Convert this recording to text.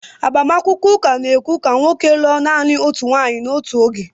Agbamakwụkwọ ụka na-ekwe ka nwoke lụọ naanị otu nwunye n'otu oge